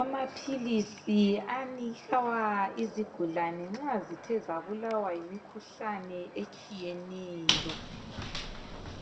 Amaphilisi anikwa izigulane nxa zithe zabulawa yimikhuhlane etshiyeneyo.